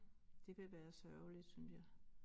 Det vil være sørgeligt synes jeg